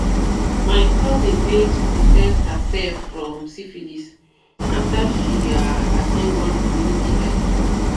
my cousin bigns protect herself from syphilis after she ah at ten d one community health talk."